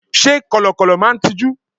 Sé Kọ̀lọ̀kọ̀lọ̀ máa n tijú?